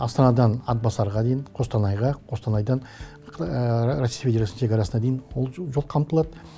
астанадан атбасарға дейін қостанайға қостанайдан ресей федерациясының шекарасына дейін ол жол қамтылады